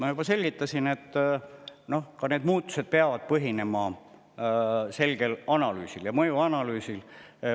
Ma juba selgitasin, et muudatused peavad põhinema selgel analüüsil, mõjuanalüüsil.